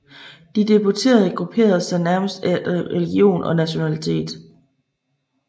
De deputerede grupperede sig nærmest efter religion og nationalitet